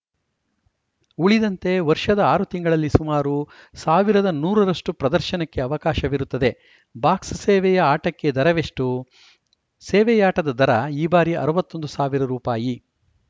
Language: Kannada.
ಉಳಿದಂತೆ ವರ್ಷದ ಆರು ತಿಂಗಳಲ್ಲಿ ಸುಮಾರು ಸಾವಿರದ ನೂರ ರಷ್ಟುಪ್ರದರ್ಶನಕ್ಕೆ ಅವಕಾಶವಿರುತ್ತದೆ ಬಾಕ್ಸ್‌ ಸೇವೆಯ ಆಟಕ್ಕೆ ದರವೆಷ್ಟು ಸೇವೆಯಾಟದ ದರ ಈ ಬಾರಿ ಅರವತ್ತ್ ಒಂದು ಸಾವಿರ ರುಪಾಯಿ